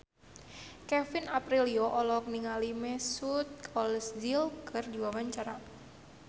Kevin Aprilio olohok ningali Mesut Ozil keur diwawancara